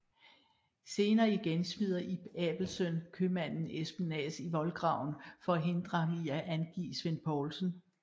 Senere igen smider Ib Abelsøn købmanden Espen Naas i voldgraven for at hindre ham i at angive Svend Poulsen